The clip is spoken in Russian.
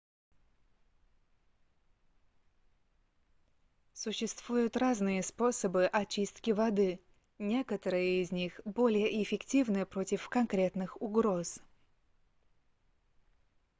существуют разные способы очистки воды некоторые из них более эффективны против конкретных угроз